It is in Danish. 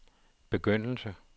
begyndelse